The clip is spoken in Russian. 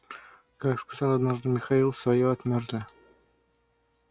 как сказал однажды михаил своё отмёрзли